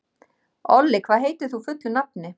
Olli, hvað heitir þú fullu nafni?